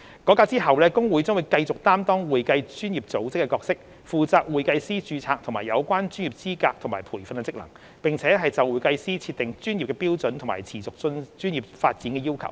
改革後，會計師公會將繼續擔當會計專業組織的角色，負責會計師註冊和有關專業資格及培訓的職能，並就會計師設定專業標準和持續專業發展的要求。